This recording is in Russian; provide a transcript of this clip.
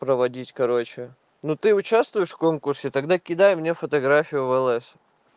проводить короче ну ты участвуешь в конкурсе тогда кидай мне фотографию влс